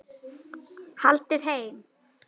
Haldið heim